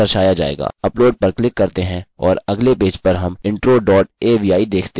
upload पर click करते हैं और अगले पेज पर हम intro dot avi देखते हैं